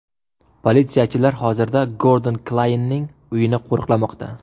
Politsiyachilar hozirda Gordon Klyaynning uyini qo‘riqlamoqda.